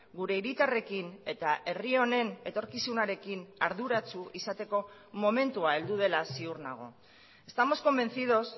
gure hiritarrekin eta herri honen etorkizunarekin arduratsu izateko momentua heldu dela ziur nago estamos convencidos